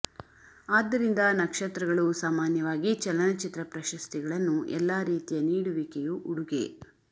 ಆದ್ದರಿಂದ ನಕ್ಷತ್ರಗಳು ಸಾಮಾನ್ಯವಾಗಿ ಚಲನಚಿತ್ರ ಪ್ರಶಸ್ತಿಗಳನ್ನು ಎಲ್ಲಾ ರೀತಿಯ ನೀಡುವಿಕೆಯು ಉಡುಗೆ